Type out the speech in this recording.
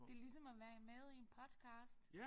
Det ligesom at være med i en podcast